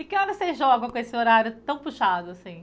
E que horas vocês jogam com esse horário tão puxado, assim?